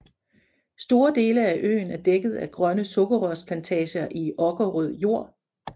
Store dele af øen er dækket af grønne sukkerrørsplantager i okkerrød jord